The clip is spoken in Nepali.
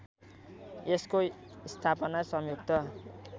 यसको स्थापना संयुक्त